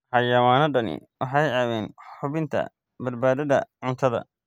Xayawaanadani waxay caawiyaan hubinta badbaadada cuntada.